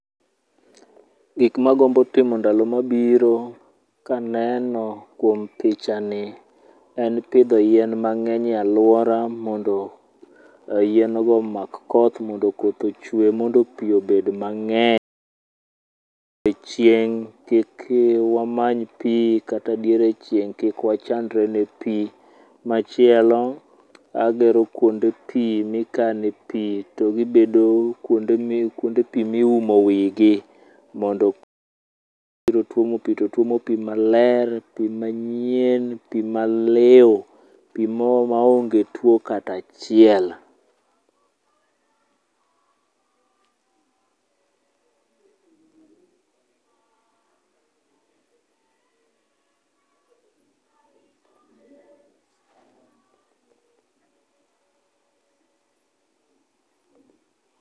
Gik magombo timo ndalo mabiro kaneno kuom picha ni en pidho yien mang'eny e alwora mondo yien go omak koth mondo koth ochwe mondo pi obed mang'eny. Chieng' kik wamany pi kata diere chieng' kik wachandre ne pi. Machielo, agero kuonde pi mikane pi to gibedo kuonde mi, kuonde pi miumo wigi, mondo. Biro twomo pi to tuomo pi maler, pi manyien, pi maliu, pi maonge tuo katachiel.